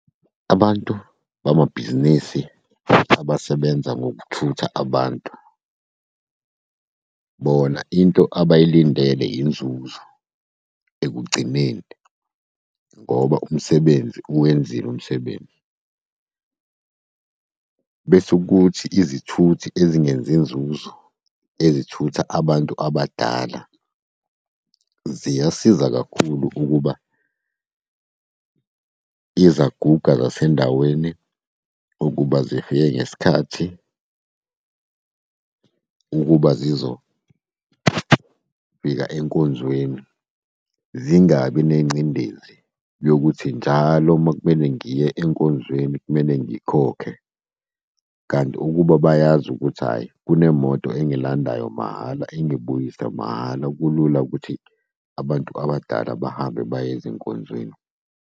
Abantu bamabhizinisi futhi abasebenza ngokuthutha abantu, bona into abayilindele inzuzo ekugcineni, ngoba umsebenzi uwenziwe umsebenzi. Bese kuthi izithuthi ezingenzi inzuzo, ezithutha abantu abadala ziyasiza kakhulu ukuba izaguga zasendaweni ukuba zifike ngesikhathi, ukuba zizofika enkonzweni. Zingabi nengcindezi yokuthi njalo uma kumele ngiye enkonzweni kumele ngikhokhe. Kanti ukuba bayazi ukuthi hhayi kunemoto engilandayo mahhala, engibuyisa mahhala, kulula ukuthi abantu abadala bahambe baye ezinkonzweni.